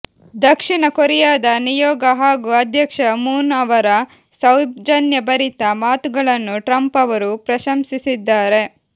ದಕ್ಷಿಣ ಕೊರಿಯಾದ ನಿಯೋಗ ಹಾಗೂ ಅಧ್ಯಕ್ಷ ಮೂನ್ ಅವರ ಸೌಜನ್ಯಭರಿತ ಮಾತುಗಳನ್ನು ಟ್ರಂಪ್ ಅವರು ಪ್ರಶಂಸಿಸಿದ್ದಾರೆ